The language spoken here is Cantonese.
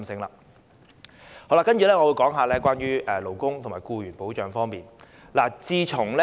接下來，我會說說勞工和僱員保障方面的事宜。